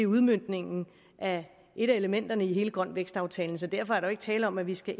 udmøntningen af et af elementerne i grøn vækst aftalen så derfor er der jo ikke tale om at vi skal